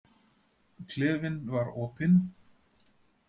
Klefinn var opinn.